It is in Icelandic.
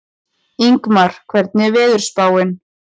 Ingmar, hvernig er veðurspáin?